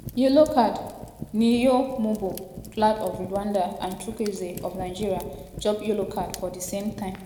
yellow card'niyomugabo claude of rwanda and chukuwweze of nigeria chop yellow card for di same time.